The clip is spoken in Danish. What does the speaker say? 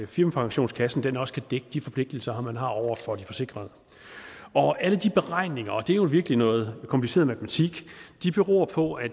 firmapensionskassen også kan dække de forpligtelser man har over for de forsikrede og alle de beregninger og det er jo virkelig noget kompliceret matematik beror på at